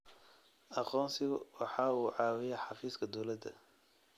Aqoonsigu waxa uu caawiyaa xafiiska dawladda.